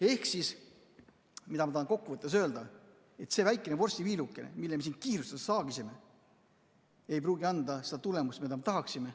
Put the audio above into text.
Ehk siis, mida ma tahan kokku võttes öelda: see väikene vorstiviiluke, mille me siin kiirustades saagisime, ei pruugi anda seda tulemust, mida me tahaksime.